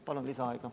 Palun lisaaega!